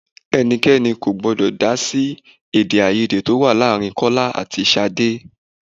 Ẹnikẹ́ni kò gbọ́dọ̀ dá sí èdè-áiyedé tó wà láàárín Kọ́lá àti Ṣadé.